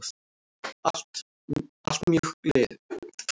Allt mjög góð lið.